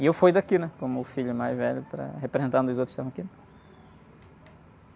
E eu fui daqui, como o filho mais velho, para... Representando os outros que estavam aqui.